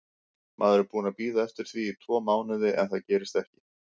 Maður er búinn að bíða eftir því tvo mánuði en það gerist ekki.